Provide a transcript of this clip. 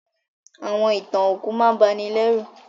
Àwọn ìtàn òkú máà n banilérù